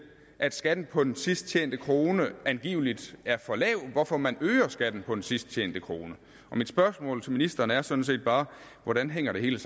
at skatten på den sidst tjente krone angiveligt er for lav hvorfor man øger skatten på den sidst tjente krone mit spørgsmål til ministeren er sådan set bare hvordan hænger det hele